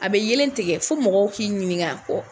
A be yelen tigɛ ,fo mɔgɔw k'i ɲininka kɔ